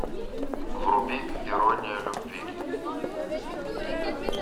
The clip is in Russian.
вруби ирония любви